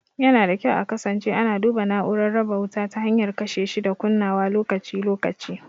Yana da kyau a kasance ana duba na'urar raba wuta ta hanyar kashe shi da kunnawa lokaci-lokaci.